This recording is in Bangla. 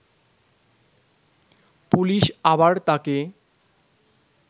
পুলিশ আবার তাকে